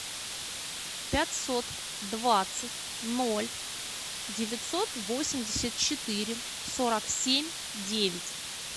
пятьсот двадцать ноль девятьсот восемьдесят четыре сорок семь девять